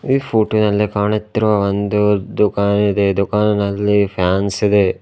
ಈ ಫೋಟೋ ನಲ್ಲಿ ಕಾಣುತ್ತಿರುವ ಒಂದು ದುಖಾನ್ ಇದೆ ದುಖಾನಿನಲ್ಲಿ ಫ್ಯಾನ್ಸ್ ಇದೆ.